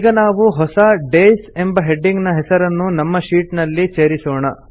ಈಗ ನಾವು ಹೊಸ ಡೇಸ್ ಎಂಬ ಹೆಡಿಂಗ್ ನ ಹೆಸರನ್ನು ನಮ್ಮ ಶೀಟ್ ನಲ್ಲಿ ಸೇರಿಸೋಣ